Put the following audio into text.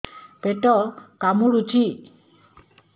ପେଟ କାମୁଡୁଛି